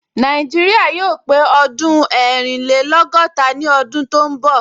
Nàìjíríà yóò pé ọdún ẹrìnlẹ́lọ́gọ́ta ní ọdún tó ń bọ̀